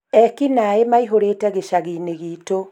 ekinae maihũrĩte gĩcagiinĩ gitũ